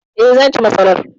E, zan ci masarar.